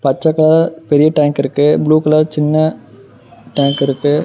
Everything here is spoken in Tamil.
பச்ச கலர் பெரிய டேங்க் இருக்கு ப்ளூ கலர் சின்ன டேங்க் இருக்கு.